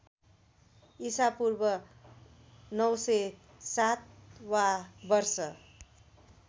ईपू ९०७ वा वर्ष